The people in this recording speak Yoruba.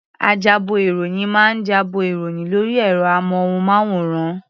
Ajábọ̀-ìròyìn máa ń jábọ̀ ìròyìn lórí ẹ̀rọ-amóhùnmáwòrán.